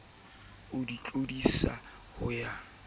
o di tlodisa ho ya